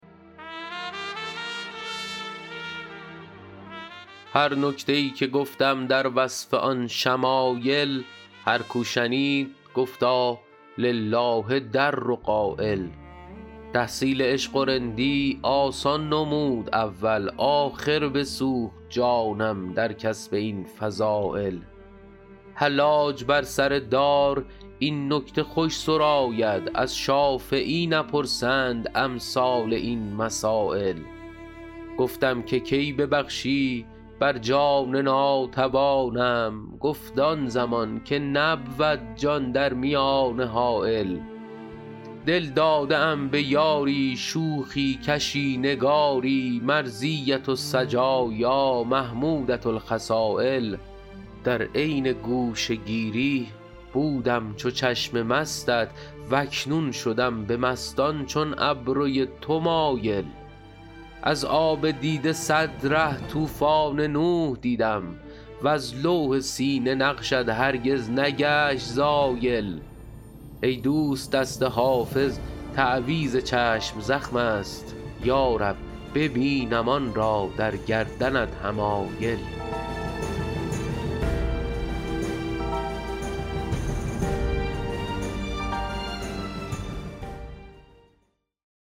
هر نکته ای که گفتم در وصف آن شمایل هر کو شنید گفتا لله در قایل تحصیل عشق و رندی آسان نمود اول آخر بسوخت جانم در کسب این فضایل حلاج بر سر دار این نکته خوش سراید از شافعی نپرسند امثال این مسایل گفتم که کی ببخشی بر جان ناتوانم گفت آن زمان که نبود جان در میانه حایل دل داده ام به یاری شوخی کشی نگاری مرضیة السجایا محمودة الخصایل در عین گوشه گیری بودم چو چشم مستت و اکنون شدم به مستان چون ابروی تو مایل از آب دیده صد ره طوفان نوح دیدم وز لوح سینه نقشت هرگز نگشت زایل ای دوست دست حافظ تعویذ چشم زخم است یا رب ببینم آن را در گردنت حمایل